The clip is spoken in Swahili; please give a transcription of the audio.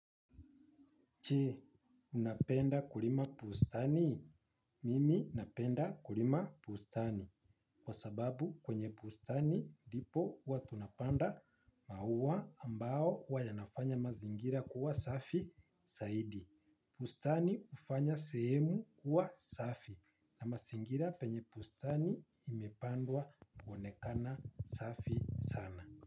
Je, unapenda kulima bustani? Mimi napenda kulima bustani. Kwa sababu kwenye bustani ndipo huwa tunapanda maua ambao huwa yanafanya mazingira kuwa safi zaidi. Bustani hufanya sehemu kuwa safi. Na mazingira penye bustani imepandwa huonekana safi sana.